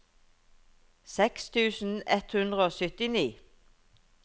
seks tusen ett hundre og syttini